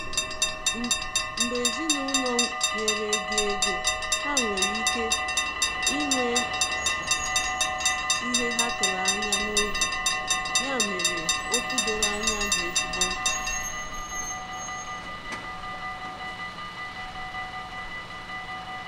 Mgbe ezinụlọ nyere gị ego, ha nwere ike inwe ihe ha atụ anya n’obi, ya mere, okwu doro anya dị ezigbo mkpa.